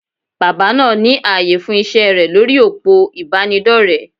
Bàbá náà ní ààyè fún iṣẹ́ rẹ̀ lórí òpó ìbánidọ́rẹ̀.